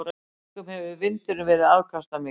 Einkum hefur vindurinn verið afkastamikill.